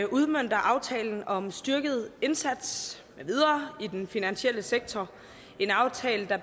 udmønter aftalen om styrket indsats med videre i den finansielle sektor en aftale der